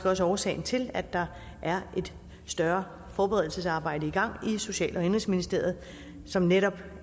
også årsagen til at der er et større forberedelsesarbejde i gang i social og indenrigsministeriet som netop